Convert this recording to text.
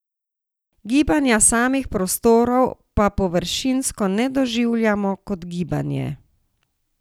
Gibanja samih prostorov pa površinsko ne doživljamo kot gibanje.